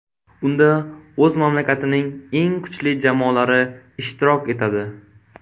Unda o‘z mamlakatining eng kuchli jamoalari ishtirok etadi.